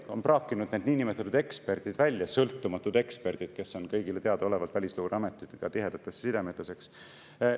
Kas on praakinud välja need niinimetatud eksperdid, "sõltumatud eksperdid", kes on kõigile teadaolevalt välisluureametitega tihedates sidemetes?